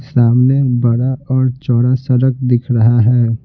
सामने बरा और चौड़ा सरक दिख रहा है।